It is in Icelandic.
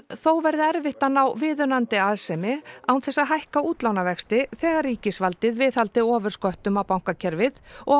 þó verði erfitt að ná viðunandi arðsemi án þess að hækka útlánavexti þegar ríkisvaldið viðhaldi ofursköttum á bankakerfið og